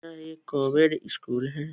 यह एक covid school है |